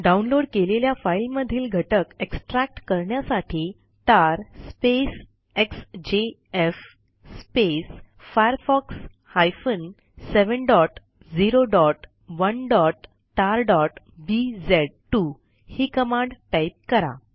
download केलेल्या फाईलमधील घटक एक्स्ट्रॅक्ट करण्यासाठी तार एक्सजेएफ firefox 701tarबीझ2 ही कमांड टाईप करा